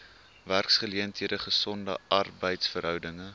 werksgeleenthede gesonde arbeidsverhoudinge